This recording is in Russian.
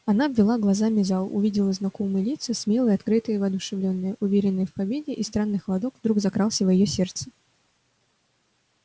она обвела глазами зал увидела знакомые лица смелые открытые воодушевлённые уверенные в победе и странный холодок вдруг закрался в её сердце